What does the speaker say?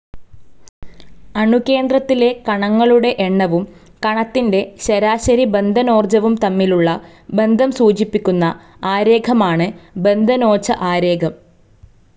അണുകേന്ദ്രത്തിലെ കണങ്ങളുടെ എണ്ണവും, കണത്തിൻ്റെ ശരാശരി ബന്ധനോർജ്ജവും തമ്മിലുള്ള ബന്ധം സൂചിപ്പിക്കുന്ന ആരേഖമാണ് ബന്ധനോജ്ജ ആരേഖം.